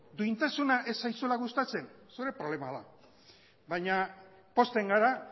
duintasuna ez zaizuela gustatzen zure problema da baina pozten gara